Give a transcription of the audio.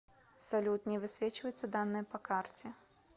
салют не высвечиваются данные по карте